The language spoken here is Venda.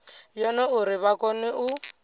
yone uri vha kone u